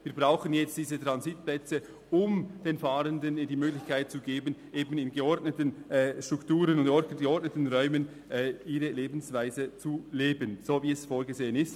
Wir brauchen jetzt diese Transitplätze, um den Fahrenden die Möglichkeit zu geben, in geordneten Strukturen und geordneten Räumen ihre Lebensweise zu leben, so wie es vorgesehen ist.